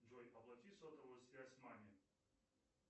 джой оплати сотовую связь маме